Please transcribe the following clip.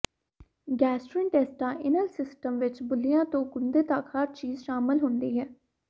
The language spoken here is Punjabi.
ਗੈਸਟਰੋਇੰਟੇਸਟਾਈਨਲ ਸਿਸਟਮ ਵਿੱਚ ਬੁੱਲੀਆਂ ਤੋਂ ਗੁੰਦੇ ਤੱਕ ਹਰ ਚੀਜ਼ ਸ਼ਾਮਲ ਹੁੰਦੀ ਹੈ